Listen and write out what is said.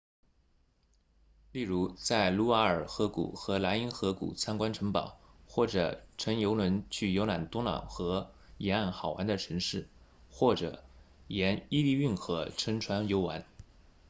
例如在卢瓦尔河谷和莱茵河谷参观城堡或者乘游轮去游览多瑙河沿岸好玩的城市或者沿伊利运河乘船游玩